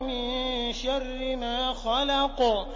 مِن شَرِّ مَا خَلَقَ